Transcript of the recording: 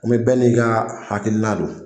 bɛɛ n'i ka hakilila don.